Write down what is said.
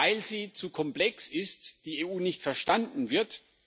Weil sie zu komplex ist, die EU nicht verstanden wird.